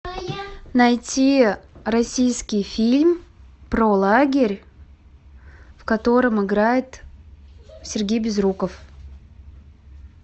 найти российский фильм про лагерь в котором играет сергей безруков